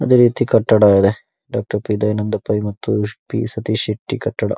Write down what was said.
ಅದೇ ರೀತಿ ಕಟ್ಟಡ ಇದೆ ಡಾಕ್ಟರ್ ಪಿ ದಯಾನಂದ ಪೈ ಮತ್ತು ಪಿ ಸತೀಶ್ ಶೆಟ್ಟಿ ಕಟ್ಟಡ.